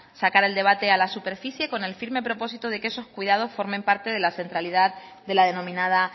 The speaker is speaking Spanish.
sacar el debate a la superficie con el firme propósito de que esos cuidados formen parte de la centralidad de la denominada